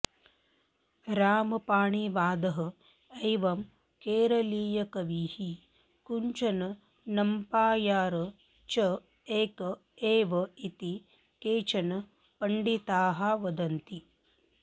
रामपाणिवादः एवं केरलीयकविः कुञ्चन् नम्प्यार् च एक एव इति केचन पण्डिताः वदन्ति